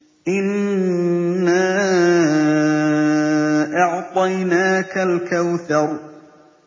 إِنَّا أَعْطَيْنَاكَ الْكَوْثَرَ